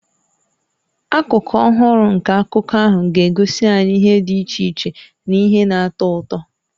Akụkụ ọhụrụ nke akụkọ ahụ ga-egosi anyị ihe dị iche iche na ihe na-atọ ụtọ.